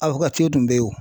tun bɛ yen o .